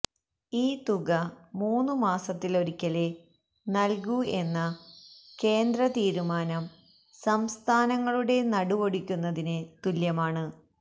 ഈ തുക മൂന്നുമാസത്തിലൊരിക്കലേ നൽകൂ എന്ന കേന്ദ്ര തീരുമാനം സംസ്ഥാനങ്ങളുടെ നടുവൊടിക്കുന്നതിന് തുല്യമാണ്